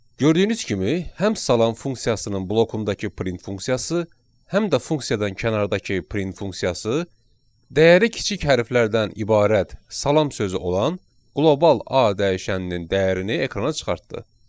Gördüyünüz kimi həm salam funksiyasının blokundakı print funksiyası, həm də funksiyadan kənardakı print funksiyası dəyəri kiçik hərflərdən ibarət salam sözü olan qlobal A dəyişəninin dəyərini ekrana çıxartdı.